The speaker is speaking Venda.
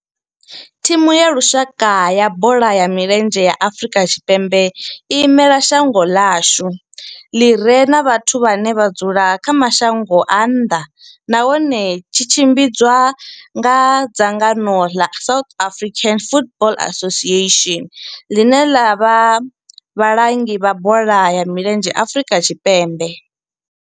Thimu ya lushaka ya bola ya milenzhe ya Afrika Tshipembe i imela shango ḽa hashu ḽi re na vhathu vhane vha dzula kha mashango a nnḓa nahone tshi tshimbidzwa nga dzangano ḽa South African Football Association, ḽine ḽa vha vhalangi vha bola ya milenzhe Afrika Tshipembe.